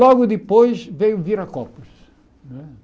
Logo depois, veio o Viracopos, não é?